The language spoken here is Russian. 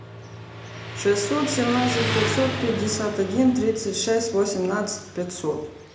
шестьсот семнадцать пятьсот пятьдесят один тридцать шесть восемнадцать пятьсот